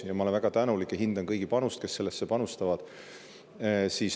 Ja ma olen väga tänulik ja hindan kõigi panust, kes sellesse panustavad.